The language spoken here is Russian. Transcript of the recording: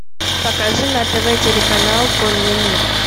покажи на тв телеканал конный мир